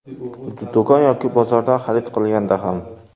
Do‘kon yoki bozordan xarid qilganda ham.